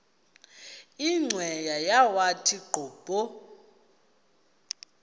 cweya yawathi qobo